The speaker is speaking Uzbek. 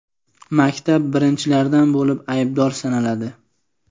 maktab birinchilardan bo‘lib aybdor sanaladi.